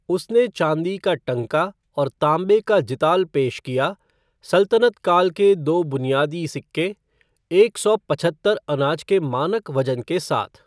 उसने चांदी का टंका और तांबे का जिताल पेश किया, सल्तनत काल के दो बुनियादी सिक्के, एक सौ पचहत्तर अनाज के मानक वजन के साथ।